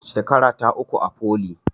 Shekarata uku a foli